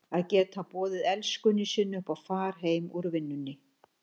Að geta boðið elskunni sinni upp á far heim úr vinnunni!